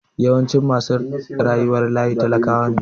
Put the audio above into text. Yawancin masu rayuwar layi talakawa ne.